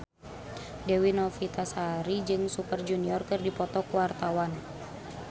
Dewi Novitasari jeung Super Junior keur dipoto ku wartawan